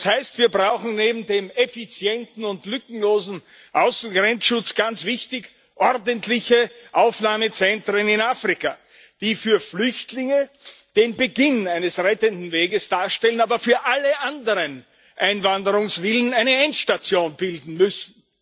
Das heißt, wir brauchen neben dem effizienten und lückenlosen Außengrenzschutz ganz wichtig ordentliche Aufnahmezentren in Afrika, die für Flüchtlinge den Beginn eines rettenden Weges darstellen, aber für alle anderen Einwanderungswilligen eine Endstation bilden müssen.